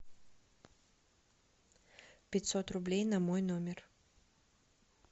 пятьсот рублей на мой номер